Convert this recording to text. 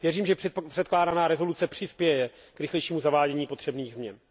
Věřím, že předkládaná rezoluce přispěje k rychlejšímu zavádění potřebných změn.